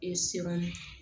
E siran